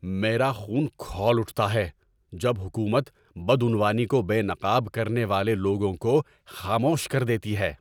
میرا خون کھول اٹھتا ہے جب حکومت بدعنوانی کو بے نقاب کرنے والے لوگوں کو خاموش کر دیتی ہے۔